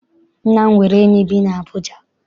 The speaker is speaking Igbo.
Nna m nwere enyi bi n'Abuja.